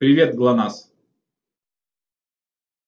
привет глонассс